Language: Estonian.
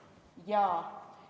Jaa.